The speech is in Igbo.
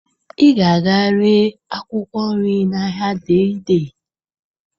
Ị ga-aga ree akwụkwọ nri n'ahịa Dei Dei.